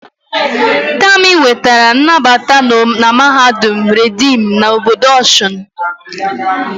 Tami nwetara nnabata na mahadum reedim na obodo Osun